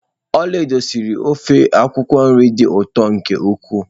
Olaedo siri ofe akwukwo nri dị ụtọ nke ukwuu